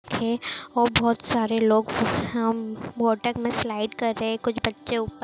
हे और बहुत सारे लोग हम्म वाटर में स्लाइड कर रहे हैं कुछ बच्चे--